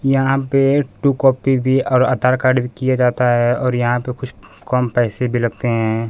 यहां पे two copy भी और आधार कार्ड भी किए जाता है और यहां पे कुछ कम पैसे भी लगते हैं।